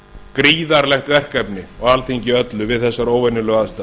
gríðarlegt verkefni og alþingi öllu við þessar óvenjulegu aðstæður